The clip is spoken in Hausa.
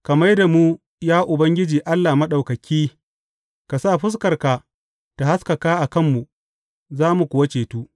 Ka mai da mu, ya Ubangiji Allah Maɗaukaki; ka sa fuskarka ta haskaka a kanmu, za mu kuwa cetu.